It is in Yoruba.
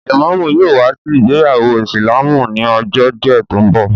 Lẹ̀mọ́mú yóò wá sí ìgbéyàwó ìsìlámù ni ọjọ́ díẹ̀ tó ń bọ̀